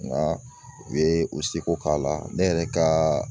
Nka u bɛ u ye u seko k'a la ne yɛrɛ kaaaa